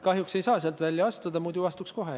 Kahjuks ei saa sealt välja astuda, muidu astuks kohe.